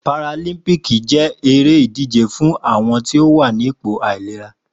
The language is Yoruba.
Páràlímpìkí ni éré idijé fùn awọn ti ó wà nipó áilérà